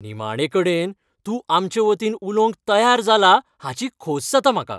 निमाणेकडेन! तूं आमचे वतीन उलवंक तयार जाला हाची खोस जाता म्हाका .